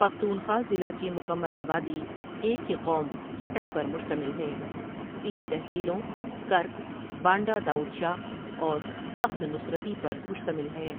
پختونخوا ضلع کی مکمل آبادی ایک ہی قوم خٹک پر مشتمل ہے تين تحصيلوں ، کرک، بانڈہ داؤد شاہ اور تخت نصرتی پر مشتمل ہے